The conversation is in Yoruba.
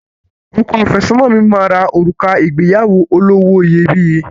Ọkọ àfẹ́sọ́nà mi máa ra òrùka ìgbéyàwó olówó iyebíye